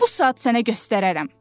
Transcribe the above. Bu saat sənə göstərərəm.